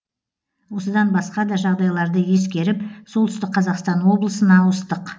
осыдан басқа да жағдайларды ескеріп солтүстік қазақстан облысына ауыстық